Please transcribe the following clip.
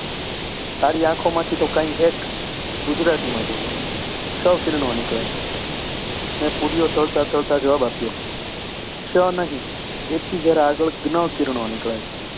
તારી આંખોમાંથી તો કાંઈ x ગુજરાતીમાં બોલો. ક્ષ કિરણો નીકળે છે. મેં પૂરીઓ તળતાં તળતાં જવાબ આપ્યો ક્ષ નહીં, એથી જરા આગળ જ્ઞ કિરણો નીકળે છે.